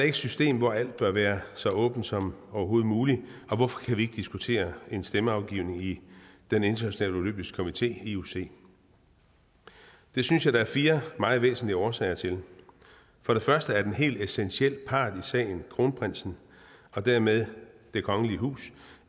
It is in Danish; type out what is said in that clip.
et system hvor alt bør være så åbent som overhovedet muligt og hvorfor kan vi ikke diskutere en stemmeafgivning i den internationale olympiske komité ioc det synes jeg der er fire meget væsentlige årsager til for det første har en helt essentiel part i sagen kronprinsen og dermed det kongelige hus